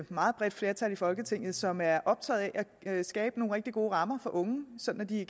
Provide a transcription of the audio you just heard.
meget bredt flertal i folketinget som er optaget af at skabe nogle rigtig gode rammer for unge sådan at de